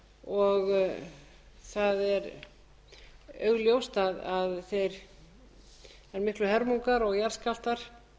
það er augljóst að þær miklu hörmungar og jarðskjálftar